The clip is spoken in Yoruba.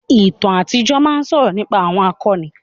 Ìtàn àtijọ́ máa ń sọ̀rọ̀ nípa àwọn akọni.